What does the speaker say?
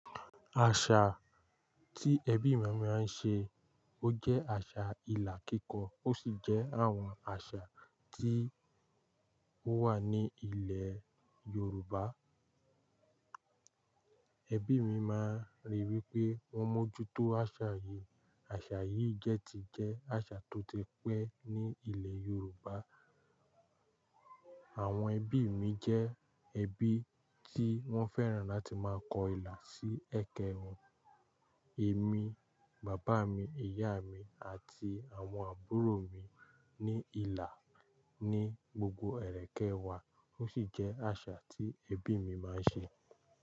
Àṣà tí ẹbí mi máa ń ṣe, ó jẹ́ àṣà ìlà kíkọ, ó sì jẹ́ àwọn àṣà tí ó wà ní ilẹ̀ Yorùbá. Ẹbí mi máa ń rí wípé wọ́n mójú tó àṣà yìí. Àṣà yìí jẹ́ ti jẹ́ àṣà tó ti pé ní ilẹ̀ Yorùbá. Àwọn ẹbí mi jẹ́ ẹbí tí wọ́n fẹ́ràn láti máa kọ ìlà sí ẹ̀kẹ wọn. Èmi, bàbá mi, ìyá mi àti àwọn àbúrò mi ní ìlà ní gbogbo ẹ̀rẹ̀kẹ́ wa, ó sì jẹ́ àṣà tí ẹbí mi máa ń ṣe.